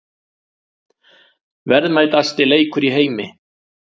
Verðmætasti leikur í heimi